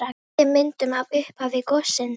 Náði myndum af upphafi gossins